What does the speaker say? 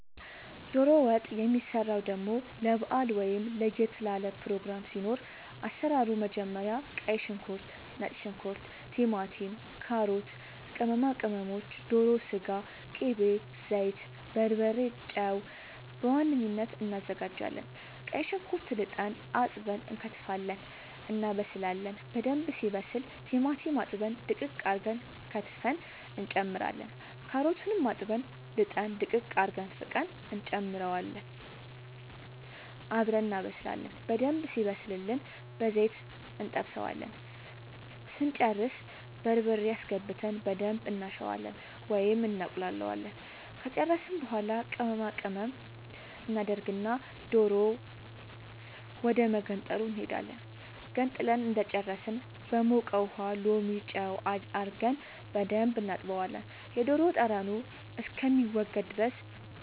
ዶሮ ወጥ የሚሰራው ደሞ ለባአል ወይም ለየት ላለ ፕሮግራም ሲኖር አሰራሩ መጀመሪያ ቀይ ሽንኩርት ነጭ ሽንኩርት ቲማቲም ካሮት ቅመማ ቅመሞች ዶሮ ስጋ ቅቤ ዘይት በርበሬ ጨው በዋነኝነት አናዘጋጃለን ቀይ ሽንኩርት ልጠን አጥበን እንከትፋለን እናበስላለን በደንብ ሲበስል ቲማቲም አጥበን ድቅቅ አርገን ከትፈን እንጨምራለን ካሮቱንም አጥበን ልጠን ድቅቅ አርገን ፍቀን እንጨምረውና አብረን እናበስላለን በደንብ ሲበስልልን በዘይት እንጠብሰዋለን ስንጨርስ በርበሬ አስገብተን በደንብ እናሸዋለን ወይም እናቁላለዋለን ከጨረስን በኃላ ቅመማ ቅመም እናደርግና ዶሮ ወደመገንጠሉ እንሄዳለን ገንጥለን እንደጨረስን በሞቀ ውሃ ሎሚ ጨው አርገን በደንብ እናጥበዋለን የዶሮ ጠረኑ እስከሚወገድ ድረስ